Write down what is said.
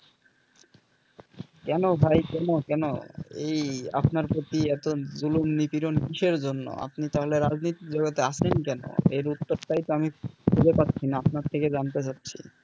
কেন ভাই কেন কেন? এই আপনার প্রতি এত জুলুম নিতিরন কিসের জন্য আপনি তাহলে রাজনীতির জগতে আছেন কেন? এর উত্তরটাই তো আমি বুঝে পাচ্ছি না আপনার থেকে জানতে চাচ্ছি?